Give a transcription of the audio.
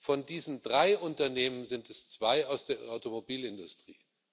Von diesen drei Unternehmen sind zwei aus der Automobilindustrie.